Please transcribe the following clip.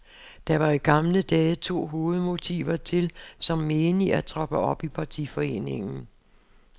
Der var i gamle dage to hovedmotiver til, som menig, at troppe op i partiforeningen.